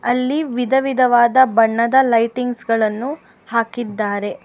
ಅಲ್ಲಿ ವಿಧವಿಧವಾದ ಬಣ್ಣದ ಲೈಟಿಂಗ್ಸ್ ಗಳನ್ನು ಹಾಕಿದ್ದಾರೆ.